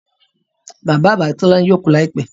Bàbá àgbà Tolani yóò kú láìpẹ́